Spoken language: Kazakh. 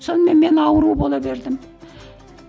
сонымен мен ауру бола бердім